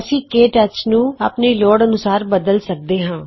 ਅਸੀਂ ਕੇ ਟੱਚ ਨੂੰ ਆਪਣੀ ਲੋੜ ਅਨੂਸਾਰ ਬਦਲ ਸਕਦੇ ਹਾਂ